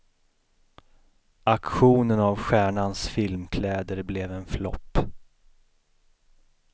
Auktionen av stjärnans filmkläder blev en flopp.